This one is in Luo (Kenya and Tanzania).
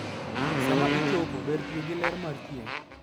Sama ichoko, ber tiyo gi ler mar chieng'.